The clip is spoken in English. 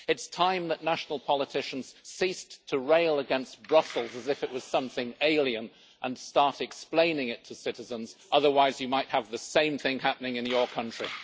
It's time that national politicians ceased to rail against Brussels as if it was something alien and started explaining it to citizens. Otherwise you might have the same thing happening in your country.